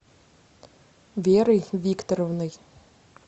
верой викторовной